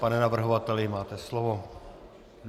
Pane navrhovateli, máte slovo.